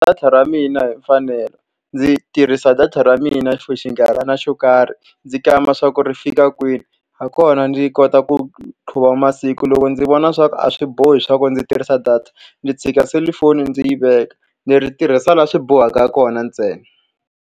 Data ra mina hi mfanelo. Ndzi tirhisa data ra mina for xinkarhana xo karhi, ndzi kamba leswaku ri fika kwini. Hi kona ndzi kota ku qhuva masiku. Loko ndzi vona leswaku a swi bohi leswaku ndzi tirhisa data, ndzi tshika selufoni ndzi yi veka. Ndzi ri tirhisa laha swi bohaka kona ntsena.